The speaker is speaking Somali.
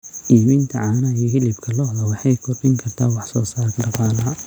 iibinta caanaha iyo hilibka lo'da waxay kordhin kartaa wax soo saarka dhaqaalaha.